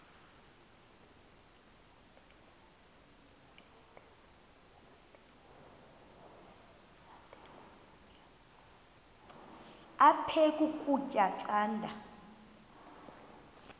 aphek ukutya canda